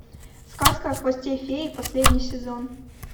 сказка о хвосте феи последний сезон